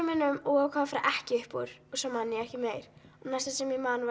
og ákvað að fara ekki upp úr og svo man ég ekki meir næsta sem ég man